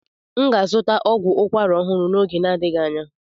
M ga-azụta ọgwụ ukwara ọhụrụ n'oge na-adịghị anya.